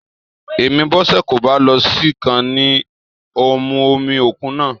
Èmí Bọ́sẹ̀ kò bá lọ sí i ká ní ó mú omi òkú náà